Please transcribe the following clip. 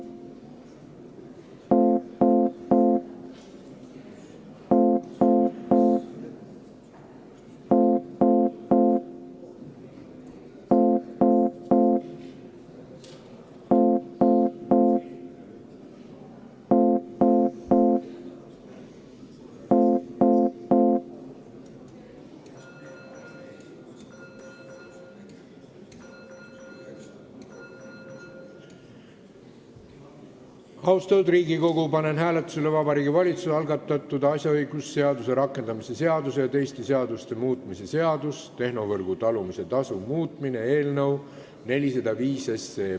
Austatud Riigikogu, panen hääletusele Vabariigi Valitsuse algatatud asjaõigusseaduse rakendamise seaduse ja teiste seaduste muutmise seaduse eelnõu 405.